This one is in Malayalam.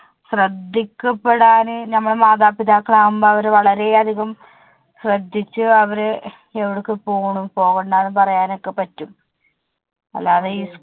ശ്രെദ്ധിക്കപെടാൻ നമ്മള് മാതാപിതാക്കൾ ആകുമ്പോൾ അവരെ വളരെ അധികം ശ്രെദ്ധിച്ചു അവരെ എവിടേക്ക് പോണം പോകണ്ട എന്ന് പറയാൻ ഒക്കെ പറ്റും. അല്ലാതെ ഈ